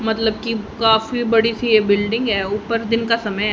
मतलब की काफी बड़ी सी ये बिल्डिंग है ऊपर दिन का समय--